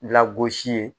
Lagosi ye